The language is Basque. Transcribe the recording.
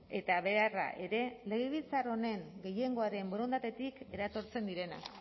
eta beharra ere legebiltzar honen gehiengoaren borondatetik eratortzen direnak